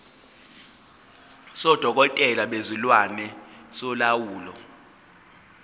sodokotela bezilwane solawulo